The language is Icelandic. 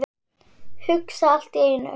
Hugsa allt í einu.